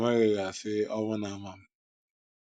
ọ nweghị ga- asị, “ Owu Na - ama m”.